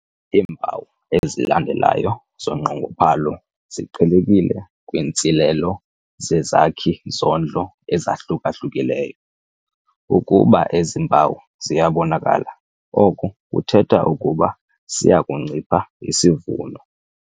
Iimpawu ezilandelayo zonqongophalo ziqhelekile kwiintsilelo zezakhi-zondlo ezahluka-hlukileyo. Ukuba ezi mpawu ziyabonakala oko kuthetha ukuba siya kuncipha isivuno.